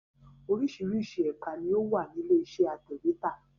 Oríṣiríṣi ẹ̀ka ni ó wà nílé iṣẹ́ atẹ̀wẹ́tà